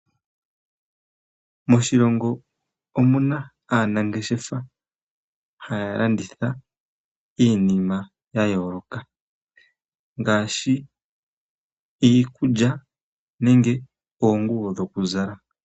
Moshilongo omuna aanangeshefa haya landitha iinima yayooloka ngaashi iikulya nenge oonguyo dhokulala.